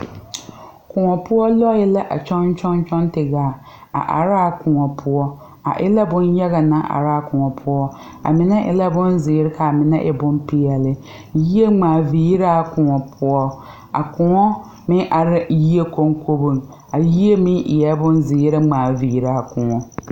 Kõɔ poɔ lɔɛ la kyɔŋ kyɔŋ kyɔŋ ti gaa kõɔŋ a are laa kõɔ poɔ a e l bonyaga naŋ araa kõɔ poɔ a mine e la bonzeere kaa mine e bonpeɛle yie ngmaa viiraa kõɔ poɔ a kõɔ meŋ are la yie koŋkoboŋ a yie meŋ eɛɛ bonzeere ngmaa viiraa kõɔ.